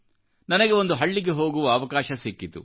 ನನಗೆ ಒಂದು ಹಳ್ಳಿಗೆಹೋಗುವ ಅವಕಾಶ ಸಿಕ್ಕಿತು